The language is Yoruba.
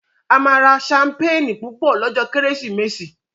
A má rà Ṣampeeni Púpọ lójó Kérésìmesì.